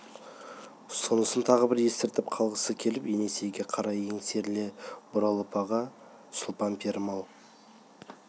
сонысын тағы бір ескертіп қалғысы келіп есенейге қарай еңсеріле бұрылыпаға сұлтан пірім-ау